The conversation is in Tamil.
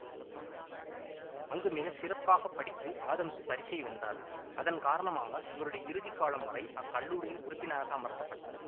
அங்கு மிக சிறப்பாக படித்து ஆதம்சு பரிசை வென்றார் அதன் காரனமாக இவருடைய இறுதிக்காலம் வரை அக்கல்லூரியின் உறுப்பினராக அமர்த்த பட்டார்